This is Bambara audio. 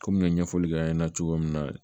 Komi n ye ɲɛfɔli kɛ an ɲɛna cogo min na